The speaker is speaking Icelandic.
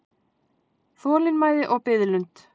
Þolinmæði og biðlund.